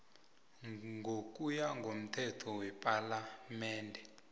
ngokuya komthetho wepalamende